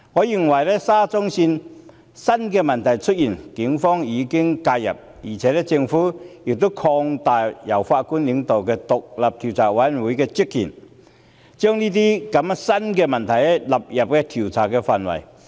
就沙中線出現的新問題，警方已經介入，政府亦擴大了由前法官領導的獨立調查委員會的職權，把這些新出現的問題納入調查範圍。